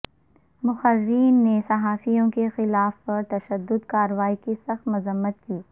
مقررین نےصحافیوں کے خلاف پر تشدد کاروائیوں کی سخت مذمت کی